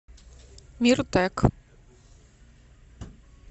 миртек